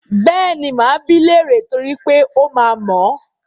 Bẹ́ẹ̀ni, máa bi í léèrè niítorí pé ó máa mọ̀ ọ́n.